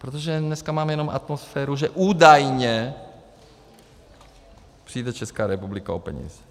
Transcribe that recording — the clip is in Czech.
Protože dneska máme jenom atmosféru, že - údajně - přijde Česká republika o peníze.